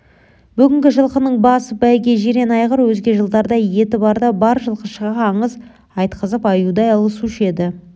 бүгінгі жылқының басы бәйге жирен айғыр өзге жылдарда еті барда бар жылқышыға аңыз айтқызып аюдай алысушы еді